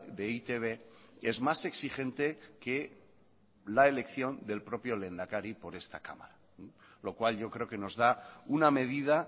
de e i te be es más exigente que la elección del propio lehendakari por esta cámara lo cual yo creo que nos da una medida